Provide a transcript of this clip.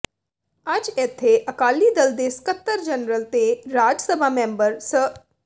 ਅੱਜ ਇਥੇ ਅਕਾਲੀ ਦਲ ਦੇ ਸਕੱਤਰ ਜਨਰਲ ਤੇ ਰਾਜ ਸਭਾ ਮੈਂਬਰ ਸ